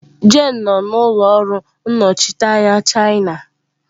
Jane nọ n'ụlọ ọrụ nnọchiteanya China.